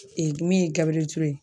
min ye Gabriel Ture ye.